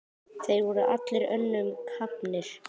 Þeir voru allir önnum kafnir.